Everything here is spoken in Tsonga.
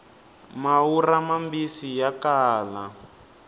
maurha mambisi ya kala